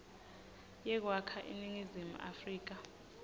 yekwakha iningizimu afrika